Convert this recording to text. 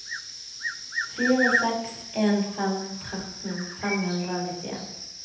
fire seks en fem tretten fem hundre og nittien